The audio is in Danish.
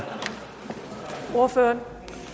ordføreren